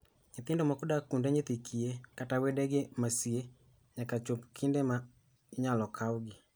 Nyithindo moko dak kuonde dak nyithi kiye, kata kod wedegi ma sie, nyaka chop kinde ma inyalo kawgi.